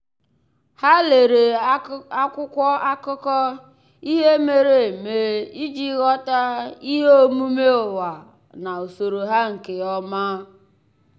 há lèrè há lèrè ákwụ́kwọ́ ákụ́kọ́ ihe mere eme iji ghọ́tá ihe omume ụ́wà na usoro ha nke ọma.